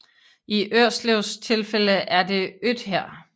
I Ørslevs tilfælde er det Øthær